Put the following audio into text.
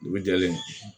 Dugu jɛlen